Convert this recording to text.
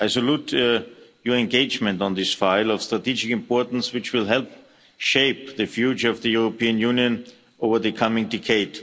I salute your engagement on this file of strategic importance which will help shape the future of the European Union over the coming decade.